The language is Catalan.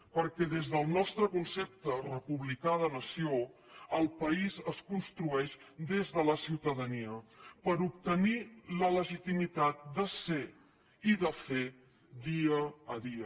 perquè des del nostre concepte republicà de nació el país es construeix des de la ciutadania per obtenir la legitimitat de ser i de fer dia a dia